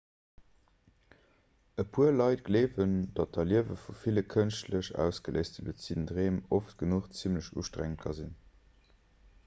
e puer leit gleewen datt d'erliewe vu ville kënschtlech ausgeléiste luziden dreem oft genuch zimmlech ustrengend ka sinn